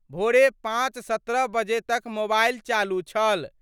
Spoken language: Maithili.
भोरे 5:17 बजे तक मोबाइल चालू छल।